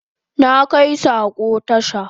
Na kai sako tasha